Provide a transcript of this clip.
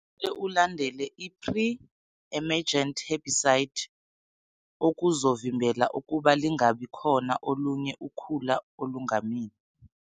Kufanele ulandele i-pre-ermegent herbicide okuzovimbela ukuba lingabikhona olunye ukhula olungamila.